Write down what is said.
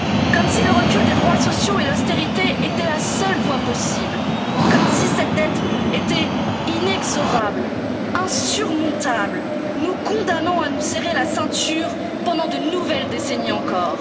sacrifices. Comme si le recul des droits sociaux et l'austérité étaient la seule voie possible, comme si cette dette était inexorable, insurmontable, nous condamnant à nous serrer la ceinture pendant de nouvelles décennies